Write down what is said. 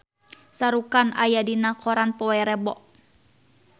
Shah Rukh Khan aya dina koran poe Rebo